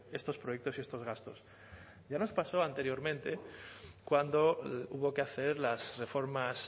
estos proyectos y estos gastos ya nos pasó anteriormente cuando hubo que hacer las reformas